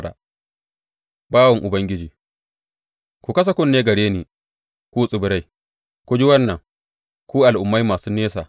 Bawan Ubangiji Ku kasa kunne gare ni, ku tsibirai; ku ji wannan, ku al’ummai masu nesa.